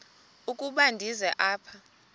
ukuba ndize apha